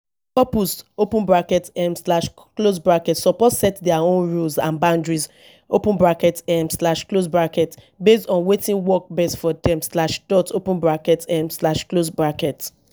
couples open bracket um slash close bracket suppose set dia own rules and boundaries open bracket um slash close bracket base on wetin work best for dem slash dot open bracket um slash close bracket